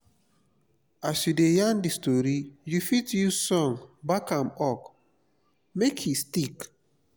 as you de yarn di story you fit use song back am up make e stick